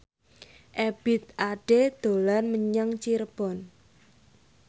Ebith Ade dolan menyang Cirebon